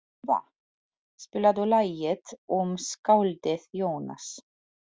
Ebba, spilaðu lagið „Um skáldið Jónas“.